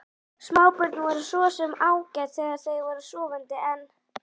Smábörn voru svo sem ágæt þegar þau voru sofandi, en